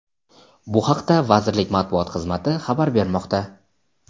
Bu haqda vazirlik Matbuot xixmati xabar bermoqda.